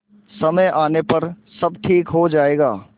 समय आने पर सब ठीक हो जाएगा